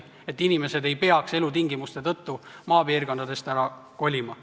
Seda on vaja, et inimesed ei peaks kehvade elutingimuste tõttu maalt ära kolima.